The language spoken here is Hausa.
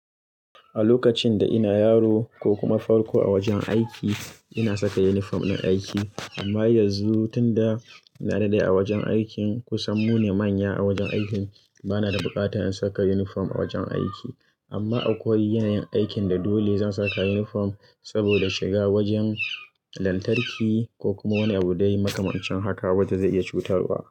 A lokacin da ina yaro ko kuma farko a wajen aiki ina saka yunifom din aiki. Amma yanzu tunda na daɗe a wajen aikin ku sannu ne manya a wajen aikin bana da bukata in saka yunifom a wajen aiki. Amma akwai yanayin aikin da dole zan saka yunifom saboda shiga wajen lantarki ko kuma wani abu dai makamancin haka wanda zai iya cutarwa.